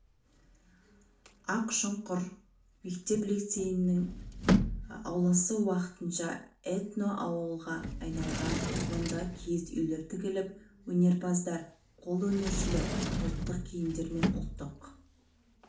ақшұқыр мектеп-лицейінің ауласы уақытша этноауылға айналған мұнда киіз үйлер тігіліп өнерпаздар қолөнершілер ұлттық киімдер мен ұлттық